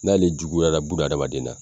N'ale juguyara buna adamaden na,